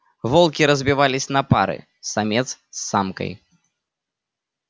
волки разбивались на пары самец с самкой